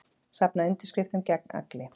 Safna undirskriftum gegn Agli